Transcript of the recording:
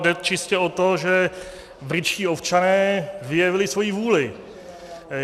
Jde čistě o to, že britští občané vyjevili svoji vůli.